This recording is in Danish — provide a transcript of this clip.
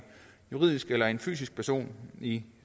juridisk eller fysisk person i